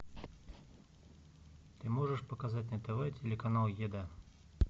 ты можешь показать на тв телеканал еда